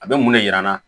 A bɛ mun de jira n na